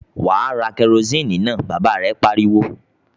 "Wà á ra kẹrósíínì náà!" Bàbá rẹ̀ pariwo.